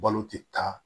Balo tɛ taa